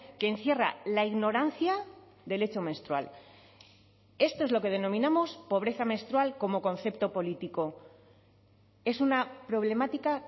que encierra la ignorancia del hecho menstrual esto es lo que denominamos pobreza menstrual como concepto político es una problemática